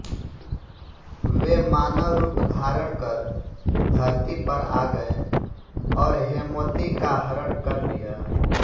वे मानव रूप धारणकर धरती पर आ गए और हेमवती का हरण कर लिया